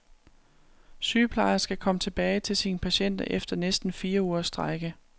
Sygeplejerske kom tilbage til sine patienter efter næsten fire ugers strejke.